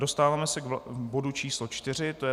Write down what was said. Dostáváme se k bodu číslo 4, to je